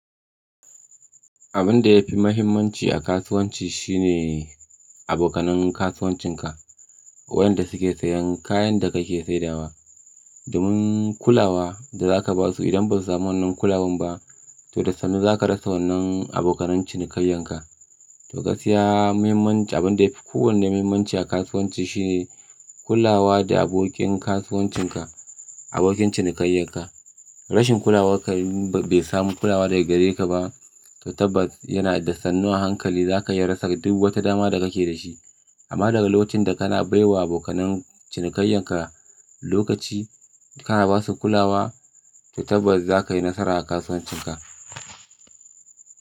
Abin da ya fi mahimmanci a kasuwanci shine abokanan kasuwancinka, wayanda suke sayen kayan da kake saidawa. Domin kulawa da za ka ba su idan ba su samu wannan kulawan ba, to da sannu za ka rasa wannan abokan cinikayyenka. To gaskiya muhimmancin abin da yafi kowane muhimmanci a kasuwanci shine kulawa da abokin kasuwancinka, abokin cinikayyenka. Rashin kulawarka bai samu kulawa daga gare ka ba, to tabbas yana da sannu a hankali za ka iya rasa duk wata dama da kake da shi. Amma daga lokacin da kana baiwa abokan cinikayyenka lokaci, kana ba su kulawa, to tabbas za ka yi nasara a kasuwancinka.